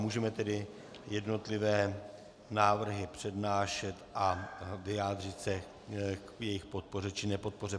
Můžeme tedy jednotlivé návrhy přednášet a vyjádřit se k jejich podpoře či nepodpoře.